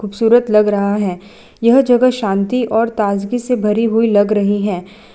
खूबसूरत लग रहा है यह जगह शांति और ताजगी से भरी हुई लग रही है।